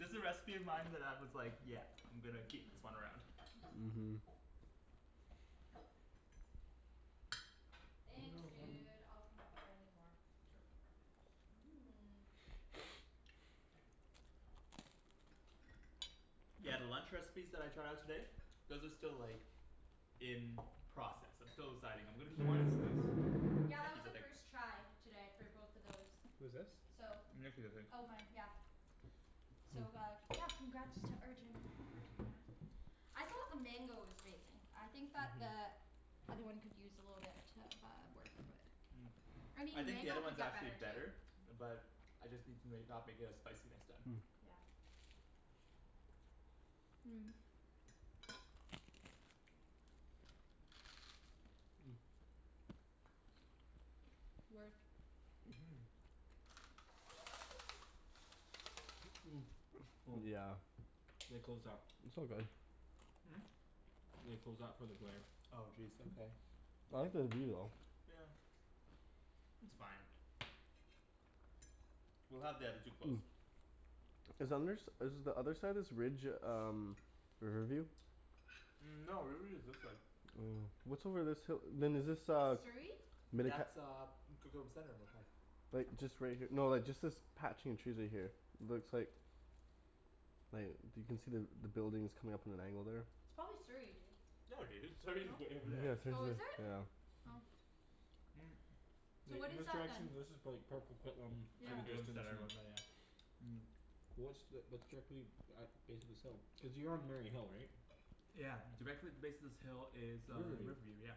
This a recipe of mine that I was like, yeah I'm gonna keep this one around. Mhm. Thanks No. dude, I'll come up if I need more. Mmm. Yeah, the lunch recipes that I tried out today those are still like in process. I'm still deciding. I'm gonna Whose keep wine is this? Yeah that was Nikki's a a big first try today for both of those. Who's this? So Nikki I think. Oh mine, yeah. So uh, yeah, congrats to Arjan for doing that. I thought the mango was amazing. I think that the other one could use a little bit uh of work but Mm. I I mean think the other mango could one's get actually better better. too. But I just need to make, not make it as spicy next time. Yeah. Mmm. Work. Mhm. Mmm. Yeah. They closed that. It's all good. Hmm? They closed that for the glare. Oh jeez, okay. I like the view though. Yeah. It's fine. We'll have the other two close. Is under s- is the other side of this ridge um Riverview? Mm no, Riverview is this way. Oh. What's over this hi- then is this uh Surrey? That's uh Coquitlam Center it looked like. Like just right here, no just like this patch in trees right here. Looks like like you can see the buildings coming up at an angle there. It's probably Surrey, dude. No dude, Surrey's No? way over there. Yeah, Surrey's Oh, at, is it? yeah. Oh. Mm So Like what in is this that then? this is prolly like Port Coquitlam in Yeah the just distance and Mm. What's the, that's directly at base of this hill? Cuz you're on Mary Hill right? Yeah. Directly at the base of this hill is uh Riverview. Riverview, yeah.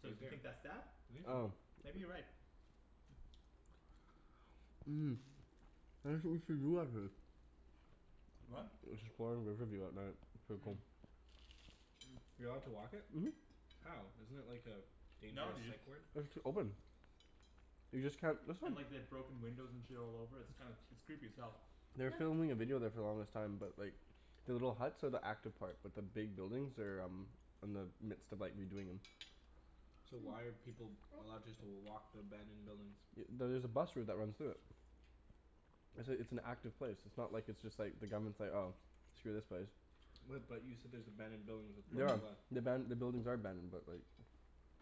So do you think that's that? I think so. Maybe you're right. What? Riverview at night. Mm. You allowed to walk it? Mhm. How? Isn't it like a No dangerous dude. psych ward? It's open. You just can't, that's not And like they've broken windows and shit all over, it's kind of, it's creepy as hell. They were filming a video there for the longest time, but like The little huts are the active part, but the big buildings are um in the midst of like redoing 'em. So why are people allowed just to walk the abandoned buildings? Y- there's a bus route that runs through it. It's a it's an active place. It's not like it's just like, the government's like "Oh, screw this place." What but you said there's abandoned buildings with Mhm. The aban- the buildings are abandoned but like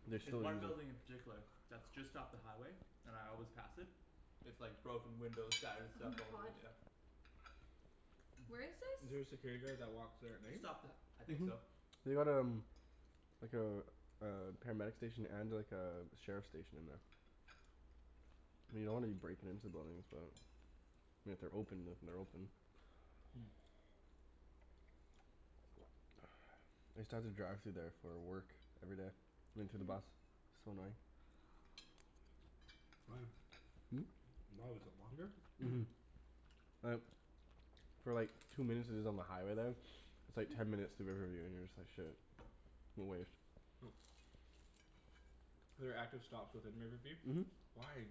they There's still one building in particular that's just off the highway and I always pass it. It's like broken windows, shattered Oh stuff my all over, god. yeah. Where is Is this? there a security guard that walks there at night? Just off the, I think so. They got um like a a paramedic station and like a sheriff station in there. I mean you don't wanna be breaking into buildings but I mean if they're open, if they're open. Hmm. I used to have to drive through there for uh work. Every day. Into the bus. So annoying. Why? Hmm? Why, was it longer? Mhm. Like For like two minutes is is on the highway there. It's like ten minutes through Riverview, and you're just like "Shit." There are active stops within Riverview? Mhm. Why?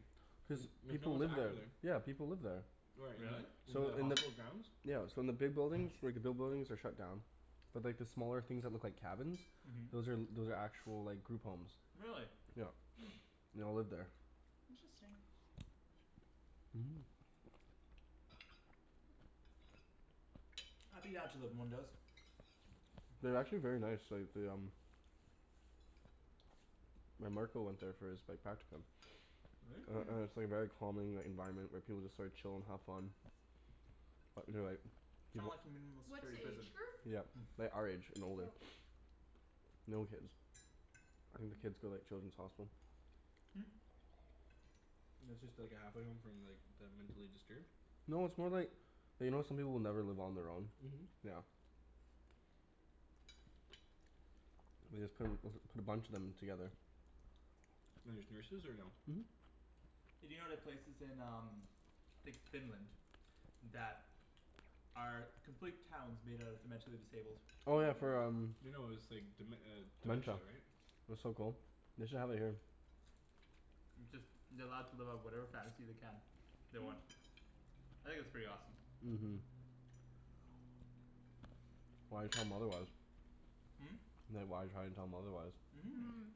Cuz Like no people one's live there. active there. Yeah people live there. Where, Really? in the in So the in the hospital grounds? Yeah so in the big buildings, like the big buildings are shut down. But like the smaller things that look like cabins Mhm. those are those are actual like group homes. Really? Yeah. They all live there. Interesting. Mhm. I'd be down to living in one of those. Mm. They're actually very nice, like they um My marker went there for his like practicum. Really? And Hmm. and it's like very calming, the environment, where people like chill and have fun. Uh they're like Kind of like a minimal What's security the prison. age group? Yeah. Like our age and older. Oh. No kids. I think the kids go like Children's Hospital. Hmm. It's just like a halfway home from like the mentally disturbed? No, it's more like you know how some people will never live on their own? Mhm. Yeah. They just put a p- put a bunch of them together. And there's nurses or no? Mhm. Hey do you know the places in um like Finland that are complete towns made out of the mentally disabled. Oh yeah for um, No no it's like dem- uh dementia dementia. right? That's so cool. They should have it here. It's just they're allowed to live out whatever fantasy they can. They want. I think that's pretty awesome. Mhm. Why tell 'em otherwise? Hmm? Like why try to tell them otherwise? Mhm. Mmm.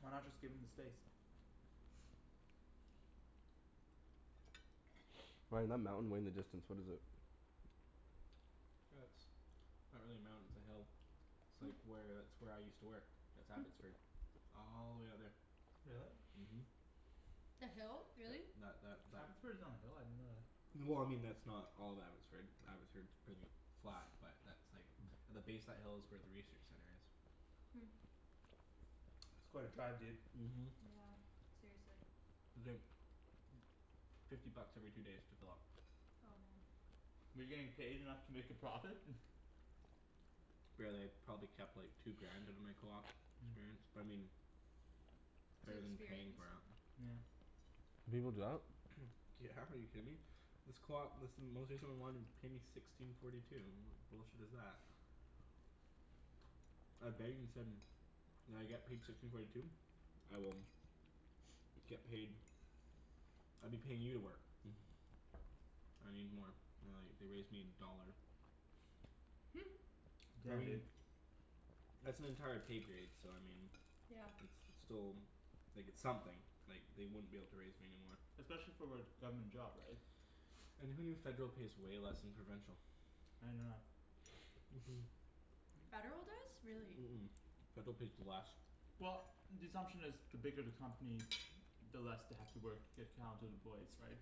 Why not just give them the space? Ryan, that mountain way in the distance, what is it? That's not really a mountain, it's a hill. It's like where, that's where I used to work. That's Abbotsford. All the way out there. Really? Mhm. The hill? Really? That that Abbotsford is on a hill? I didn't know that. Well I mean that's not all of Abbotsford, Abbotsford's pretty flat, but that's like the base of that hill is where the research center is. Hmm. That's quite a drive dude. Mhm. Yeah, seriously. It's like fifty bucks every two days to fill up. Oh man. Were you getting paid enough to make a profit? Barely. Probably kept like two grand out of my coop experience, but I mean It's better than paying experience. for it. Yeah. People do that? Yeah, are you kidding me? This coop, this paid me sixteen forty two. What bullshit is that? said "Will I get paid sixteen forty two?" "I will" "get paid." "I'd be paying you to work." "I need more." They're like, they raised me a dollar. I Yeah mean dude. that's an entire pay grade, so I mean Yeah. it's, it's still like, it's something. Like, they wouldn't be able to raise me anymore. Especially for what, government job right? And who knew federal pays way less than provincial? I didn't know that. Mhm. Mmm. Federal does? Really. Mhm. Federal pays less. Well the assumption is the bigger the company the less they have to work to get counted employees right?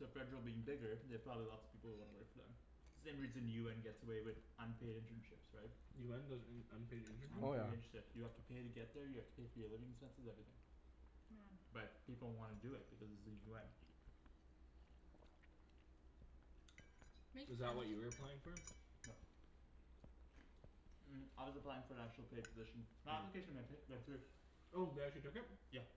So federal being bigger, they have probably lots of people who wanna work for them. Same reason UN gets away with unpaid internships, right? UN does un- unpaid Oh yeah. internships? Unpaid internships, you have to pay to get there, you have to pay for your living expenses, everything. Yeah. But people wanna do it because it's the UN. Is Makes that what you sense. were applying for? No. Mm I was applying for an actual paid position. My application went hi- went through. Oh, they actually took it? Yeah.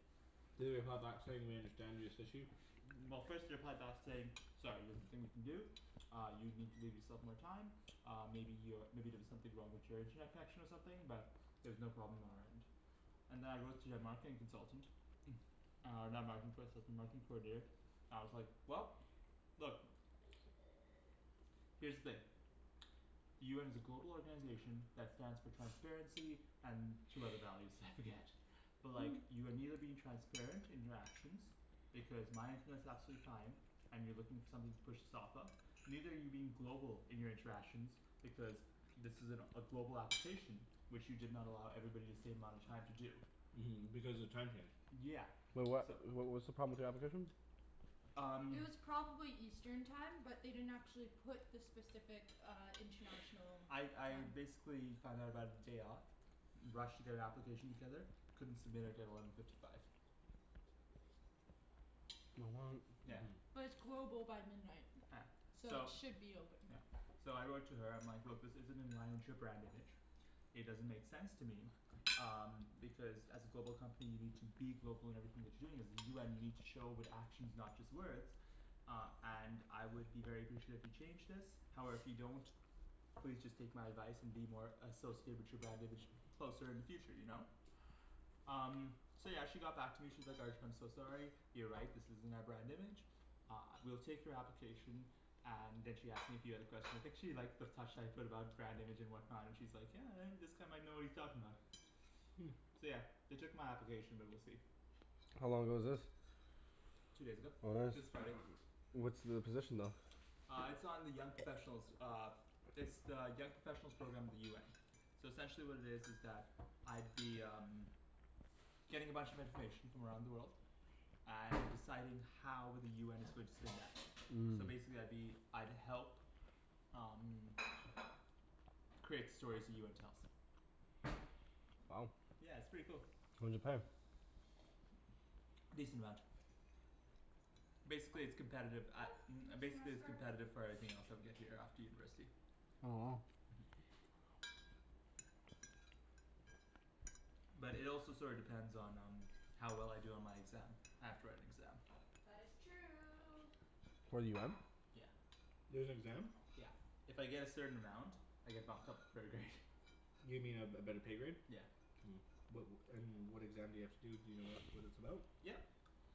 Did they reply back saying "We understand this issue?" Well first they replied back to say "Sorry there's nothing we can do." "Uh you need to leave yourself more time." "Uh maybe you're, maybe there was something wrong with your internet connection or something, but" "there's no problem on our end." And then I wrote to their marketing consultant. Uh and with the marketing coordinator. And I was like, "Well, look." "Here's the thing." "The UN is a global organization that stands for transparency and two other values, I forget." "But like, you are neither being transparent in your actions, because my internet's absolutely fine." "And you're looking for something to push this off of." "Neither are you being global in your interactions, because this is an a global application" "which you did not allow everybody the same amount of time to do." Mhm, because the time changed. Yeah. Wait what, So wh- what's the problem with the application? Um It was probably eastern time, but they didn't actually put the specific uh international I time. I basically found out about it day of. Rushed to get an application together. Couldn't submit it at eleven fifty five. Yeah. Mhm. But it's global by midnight. Yeah. So it So should be open. Yeah. So I wrote to her, I'm like "Look, this isn't in line with your brand image." "It doesn't make sense to me." "Um because as a global company, you need to be global in everything that you're doing. As the UN you need show it with actions, not just words." "Uh and I would be very appreciate if you changed this." "However if you don't, please just take my advice and be more associated with your brand image closer in the future, you know? Um So yeah, she got back to me, she's like "Arjan, I'm so sorry." You're right, this isn't our brand image. Uh, we'll take your application. And then she asked me a few other questions. I think she liked the touch that I put about brand image and whatnot. And she's like "Yeah, uh this guy might know what he's talking about." Hmm. So yeah. They took my application but we'll see. How long ago was this? Two days ago. Oh nice. This Friday. What's the position though? Uh it's on the young professionals uh It's the young professionals program of the UN. So essentially what it is is that I'd be um getting a bunch of information from around the world. And deciding how with the UN is going to spin that. Mmm. So basically I'd be, I'd help um create the stories the UN tells. Wow. Yeah, it's pretty cool. What does it pay? A decent amount. Basically it's competitive, a- You're um gonna see my basically it's scarf. competitive for everything else I would get here after university. Oh. But it also sorta depends on um how well I do on my exam. I have to write an exam. That is true. For the UN? Yeah. There's an exam? Yeah. If I get a certain amount I get bumped up a pro grade. You mean a a better pay grade? Yeah. Mmm. What and what exam do you have to do, do you know what what it's about? Yep.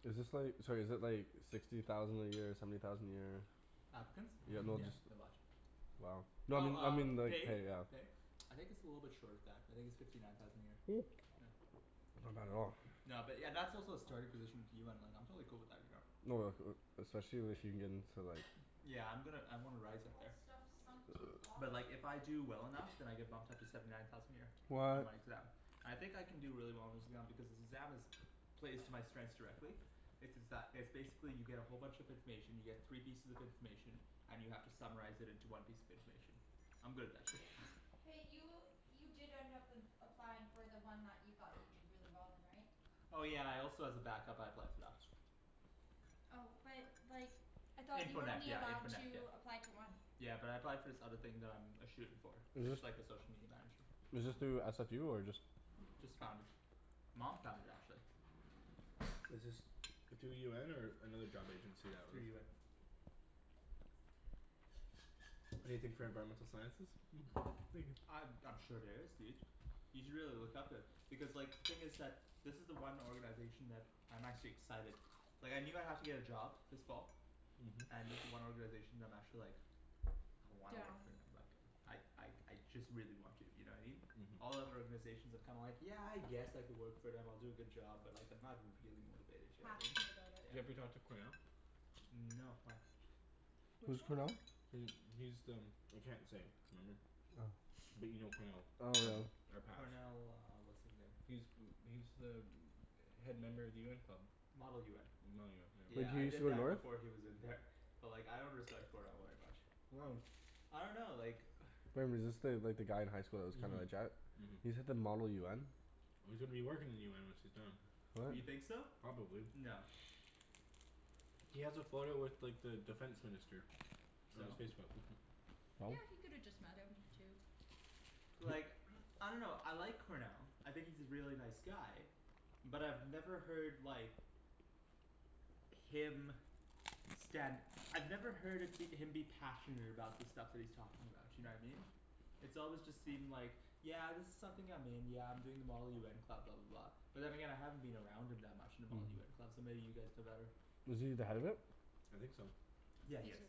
Is this like, sorry is it like sixty thousand a year, seventy thousand a year? Applicants? Yeah, no Yeah, just they're a lot. Wow. No I Well mean, I mean um, like pay? pay, yeah. I think it's a little bit short of that. I think it's fifty nine thousand a year. Yeah. Not bad at all. No but yeah, that's also a starting position of UN, like I'm totally cool with that, you know. Oh like uh especially if you get in to like Yeah I'm gonna I wanna rise up All there. this stuff sunk to the But bottom. like if I do well enough then I get bumped up to seventy nine thousand a year. On What my exam. I think I can do really well on this exam because this exam is plays to my strengths directly. It's it's that, it's basically you get a whole bunch of information, you get three pieces of information and you have to summarize it into one piece of information. I'm good at that shit. Hey, you you did end up applying for the one that you thought you'd do really well in, right? Oh yeah I also as a backup I applied for that. Oh but like I thought you Info were net only yeah, info allowed net yeah. to apply to one. Yeah but I applied for this other thing that I'm a shoo in for. It's like the social media manager. Is this Ah. through SFU or just Just found it. Mom found it actually. Is this through UN or another job agency that Through was UN. Anything for environmental sciences? Mhm. Thank you. Uh I'm sure there is dude. You should really look up it. Because like, thing is that this is the one organization that, I'm actually excited. Like I knew I'd have to get a job this fall. Mhm. And this is the one organization that I'm actually like I wanna work Down. for and I'd like I like I just really want to, you know what I mean? All Mhm. other organizations I'm kinda like, yeah I guess I could work for them, I'll do a good job, but like I'm not really motivated, you know what I mean? Passionate about it. Do you ever talk to Cornell? Mm no, why? Which Who's one? Cornell? He, he's the I can't say. Remember? Oh. But you know Cornell. Oh no. Our patch. Cornell uh what's his name. He's He's the head member of the UN club. Model UN. Model UN, yeah. Wait, Yeah did he I used to did go that north? before he was in there. But like I don't understand Cornell very much. Why? I dunno like Remember, is this the, like the guy in high school that was kind of a Mhm. jet? He's at the model UN? Well, he's gonna be working in the UN once he's done. What? You think so? Probably. No. He has a photo with like the defense minister. On his So? Facebook. Yeah, he could have just met him too. But like I dunno, I like Cornell. I think he's a really nice guy. But I've never heard like him stand I've never heard of him be passionate about the stuff that he's talking about, you know what I mean? It's always just seemed like "Yeah this is something I'm in, yeah I'm doing the model UN club," blah blah blah. But then again I haven't been around him that much in the Model UN club, so maybe you guys know better. Was he the head of it? I think so. Yeah he is.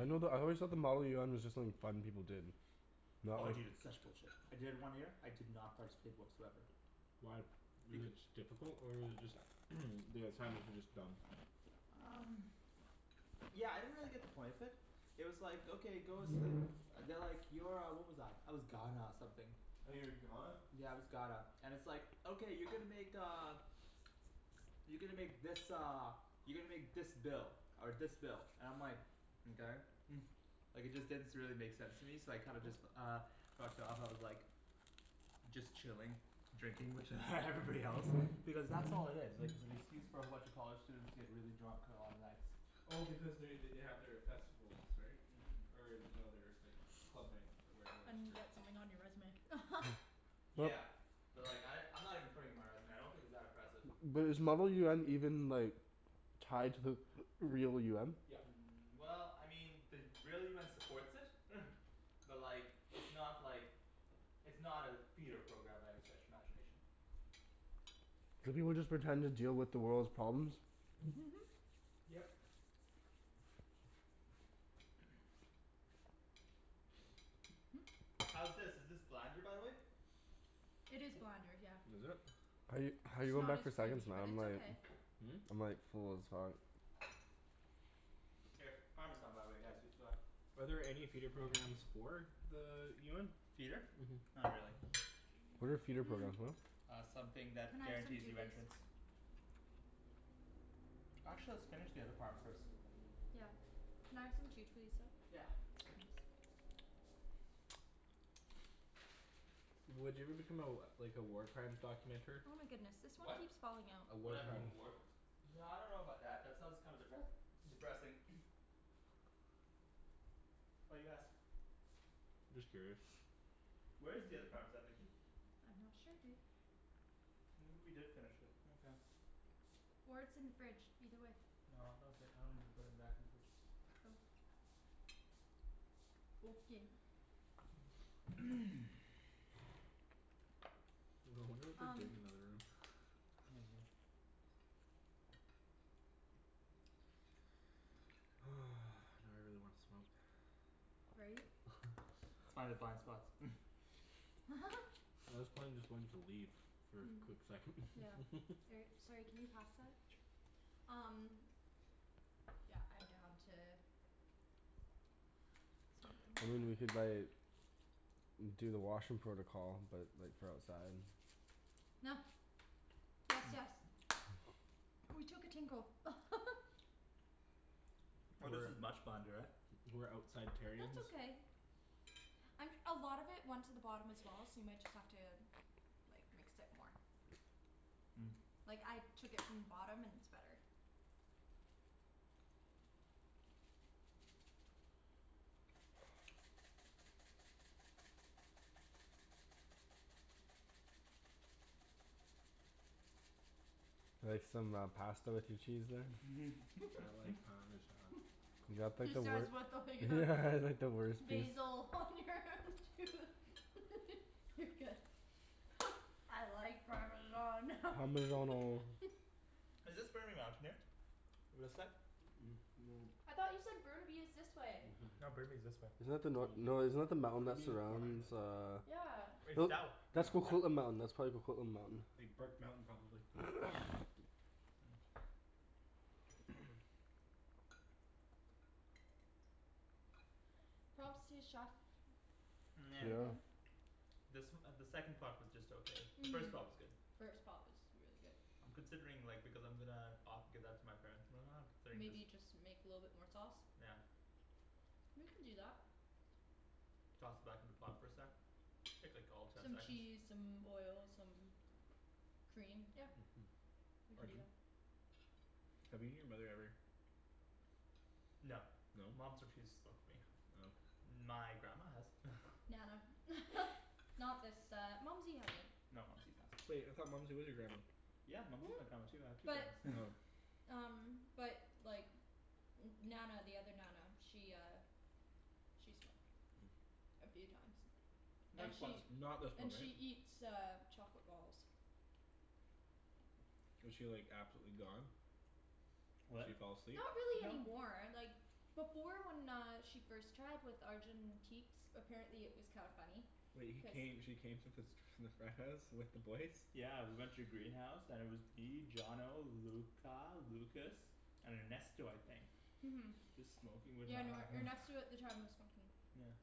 I know the, I always thought the model UN was just like fun people did. No? Oh dude, it's such bullshit. I did it one year, I did not participate whatsoever. Why? Was it beca- just difficult or was it just the assignments were just dumb? Um Yeah, I didn't really get the point of it. It was like okay, go s- They're like, you're uh, what was I, I was Ghana something. Oh, you were Ghana? Yeah, I was Ghana. And it's like "Okay you're gonna make uh" You're gonna make this uh you're gonna make this bill." Or this bill. And I'm like "Mkay." Like it just didn't s- really make sense to me, so I kinda just uh fucked off, I was like just chilling. Drinking with everybody else. Because that's all it is. Like it's an excuse for a bunch of college students to get really drunk on a lot of nights. Well because they they they have their festivals, right? Mhm. Or no their like club nights, where everyone just And drinks. get something on your resume. But Yeah. But like I, I'm not even putting it on my resume. I don't think it's that impressive. But is model UN even like tied to the real UN? Yep. Mm well, I mean, the real UN supports it. But like it's not like it's not a feeder program by any stretch of imagination. Do people just pretend to deal with the world's problems? Yep. How's this, is this blander by the way? It is blander, yeah. Was it? How you How you It's going not back as for seconds creamy, man, but I'm it's like okay. I'm like full as fuck. Here. Parmesan by the way guys, you forgot. Are there any feeder programs for the UN? Feeder? Mhm. Not really. What are feeder Mmm. programs, what? Uh something Can that I have some guarantees too, you please? entrance. Actually let's finish the other parm first. Yeah. Can I have some too please, though? Yeah. Would you ever become a like a war crimes documenter? Oh my goodness, this one What? keeps falling out. A Would war I become crime. a work No I dunno about that, that sounds kinda depres- depressing. Why do you ask? Just curious. Where is the other parmesan Nikki? I'm not sure dude. Maybe we did finish it, okay. Or it's in the fridge, either way. No, no okay, I don't remember putting it back in the fridge. Oh. Okay. I wonder what they're Um doing in the other room. Oh well. Now I really wanna smoke. Right? Let's find the blind spots. Well this plane is going to leave for a Hmm. quick second. Yeah. Or, sorry, can you pass that? Um Yeah, I'm down to I mean we could like do the washroom protocol, but like for outside. Gracias. Ooh, we took a tinkle. Oh this is much blander, eh? We're outside terrions. That's okay. Um a lot of it went to the bottom as well, so you might just have to like, mix it more. Mm. Like, I took it from the bottom and it's better. Like some uh pasta with your cheese there? I like parmesan. You got like He the wei- says what Yeah like the worst piece. Basil on your tooth. You're good. I like parmesan. Parmeggiano. Is this Burnaby Mountain here? This side? No. I thought you said Burnaby is this way. Mhm. No, Burnaby's this way. Isn't that the nor- no, isn't that the mountain that Burnaby is behind surrounds us. uh Yeah. It's that w- That's Yeah. Coquitlam Mountain. That's probably Coquitlam Mountain. Big Burke Mountain probably. Props to the chef. Pretty good. This uh the second pot was just okay. The first pot was good. First pot was really good. I'm considering like, because I'm gonna o- give that to my parents and then uh considering Maybe just you just make a little bit more sauce. Yeah. We can do that. Toss it back in the pot for a sec. Take like all of ten Some seconds. cheese, some oil, some cream, yep. We can do Arjan? that. Have you and your mother ever No. No? Mom's refused to smoke with me. Oh. My grandma has. Nana. Not this uh, Mumsy hasn't. No Mumsy's awesome. Wait, I thought Mumsy was your grandma? Yeah Mumsy is my grandma too. I have two But grandmas. um But like N- Nana the other Nana, she uh She smoked. A few times. Nah And just once. she Not this one, And right? she eats uh chocolate balls. Was she like absolutely gone? She What? fall asleep? Not really No. anymore, like before when she uh first tried, with Arjan in teaks, apparently it was kinda funny. Wait, he came, she came to fas- the frat house with the boys? Yeah we went to the greenhouse and it was me, Johnno, Luca, Lucas, and Ernesto I think. Mhm. Just smoking with Yeah no, Nana. Ernesto at the time was smoking. Yeah.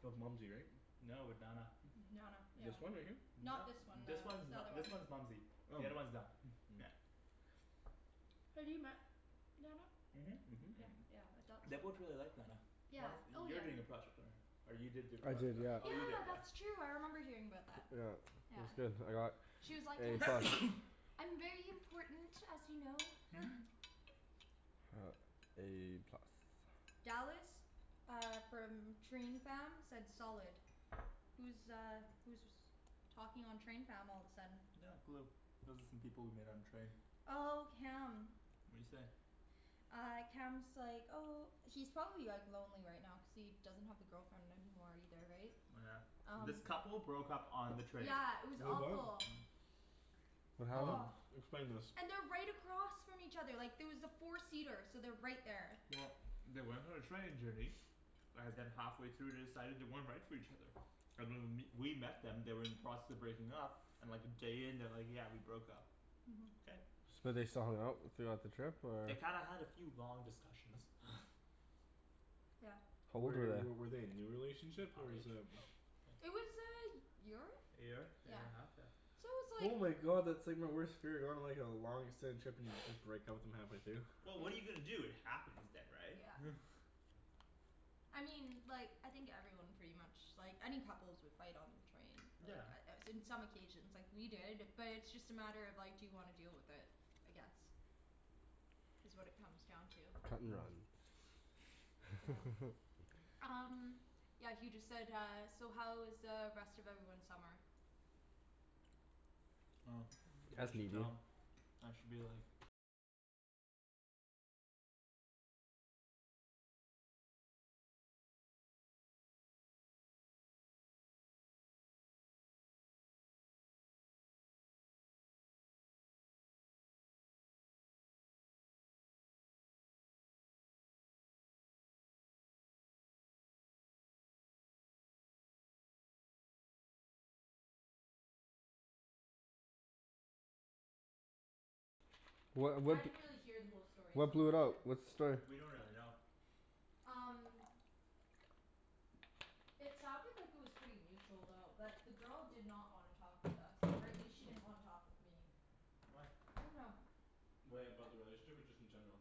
That was Mumsy, right? No, with Nana. Nana, yeah. This one right here? No. Not this one This then. one's The n- other one. this one's Mumsy. The Oh. other's one Na- Yeah. Have you met Nana? Mhm. Yeah yeah, I thought They so. both really liked Nana. One Yeah, of, oh you're yeah. doing a project on her. Or you did do a I project did, on her. yeah. Oh you did, Yeah yeah. that's true, I remember hearing about that. Yeah. It was Yeah. good. I got She was like A "Yes!" plus. "I'm very important, as you know." A plus. Dallas. Uh from train fam, said solid. Who's uh who's was talking on train fam all of a sudden? Not a clue. Those are some people we met on the train. Oh, Cam. What'd he say? Uh Cam's like, oh He's probably like lonely right now cuz he doesn't have the girlfriend anymore either, right? Oh yeah. Um This couple broke up on the train. Yeah, it was Wait what? awful. What happened? Oh. Explain this. And they're right across from each other, like there was a four seater, so they're right there. Well they went on a training journey. And then halfway through they decided they weren't right for each other. And when w- we met them they were in the process of breaking up and like a day in they're like "Yeah, we broke up." Mhm. Okay. So they still hung out throughout the trip or? They kinda had a few long discussions. Yep. How old were Were w- they? were they a new relationship or is um It was a y- year? A year, a year and a half? Yeah. So it was Oh like my god, that's like my worst fear, going on like a long extended trip and you just break up with them halfway through. Well what are you gonna do, it happens then right? Yeah. I mean like, I think everyone pretty much, like any couples would fight on the train. Yeah. Uh in some occasions. Like we did, but it's just a matter of, like, do you wanna deal with it. I guess. Is what it comes down to. Cut and Hmm. run. Yeah. Um Yeah he just said uh, "So how was uh rest of everyone's summer?" Oh. Ask That's me, boo. dumb. I should be like What I what d- didn't really hear the whole story so What I'm blew not it out? sure. What's the story? We don't really know. Um It sounded like it was pretty mutual though. But the girl did not wanna talk with us, or at least she didn't wanna talk with me. Why? I dunno. Wait, about the relationship or just in general?